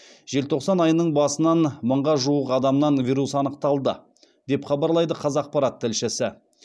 желтоқсан айының басынан мыңға жуық адамнан вирус анықталды деп хабарлайды қазақпарат тілшісі